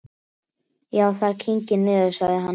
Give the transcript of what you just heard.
Já, það kyngir niður, sagði hann.